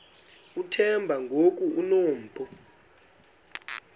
uthemba ngoku enompu